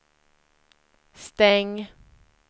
stäng